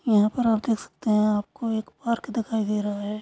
यहाँ पर आप देख सकते है आपको एक पार्क दिखाई दे रहा है।